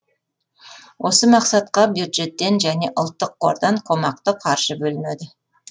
осы мақсатқа бюджеттен және ұлттық қордан қомақты қаржы бөлінеді